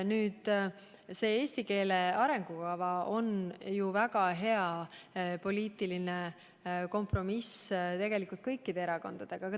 Nüüd, see praegune eesti keele arengukava on ju tegelikult väga hea poliitiline kompromiss kõikide erakondade vahel.